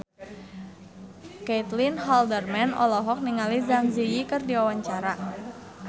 Caitlin Halderman olohok ningali Zang Zi Yi keur diwawancara